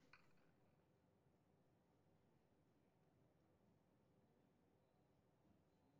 Qaar ka mid ah NGO-yada waxay bixiyaan agab qaali ah dugsiyada .